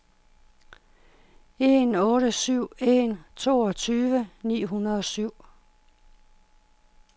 en otte syv en toogtyve ni hundrede og syv